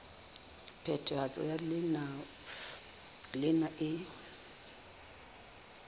phethahatso ya leano lena e